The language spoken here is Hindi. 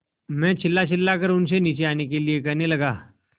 मैं चिल्लाचिल्लाकर उनसे नीचे आने के लिए कहने लगा